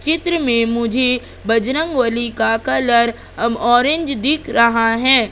चित्र में मुझे बजरंगबली का कलर ऑरेंज दिख रहा है।